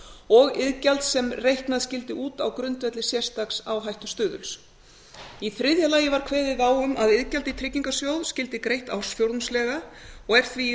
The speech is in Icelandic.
og iðgjald sem reiknað skyldi út á grundvelli sérstaks áhættustuðuls í þriðja lagi var kveðið á um að iðgjald í tryggingasjóð skyldi greitt ársfjórðungslega og er því í